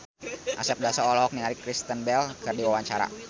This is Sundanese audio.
Asep Darso olohok ningali Kristen Bell keur diwawancara